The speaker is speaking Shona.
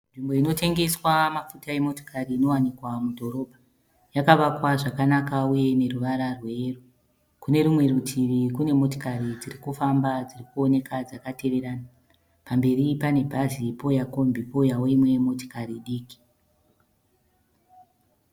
Nzvimbo inotengeswa mafuta emotikari inowanika mudhorobha. Yakavakwa zvakanaka uye ine ruvara rweyero. Kune rumwe rutivi kune motikari dziri kufamba dziri kuoneka dzakateverana. Pamberi pane bhazi pouya kombi pouyawo imwe motikari diki.